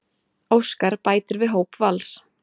Óskar bætir við hóp Vals